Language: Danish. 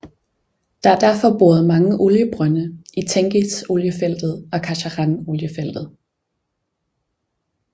Der er derfor boret mange oliebrønde i Tengiz Oliefeltet og Kashagan Oliefeltet